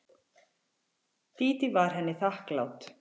Dídí var henni þakklát.